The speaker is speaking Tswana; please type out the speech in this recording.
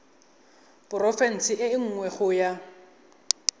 porofense e nngwe go ya